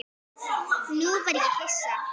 Nú verð ég hissa.